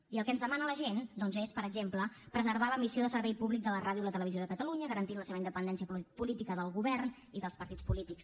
i el que ens demana la gent doncs és per exemple preservar la missió de servei públic de la ràdio i la televisió de catalunya garantint la seva independència política del govern i dels partits polítics